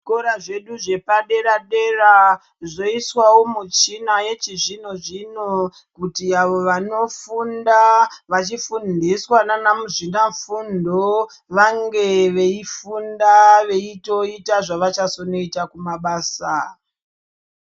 Zvikora zvedu zvepadera-dera zvoiswawo muchina yechizvino-zvino kuti avo vanofunda vachifundiswa nana muzvinafundo vange veifunda veitoita zvavachazonoita kumabasa.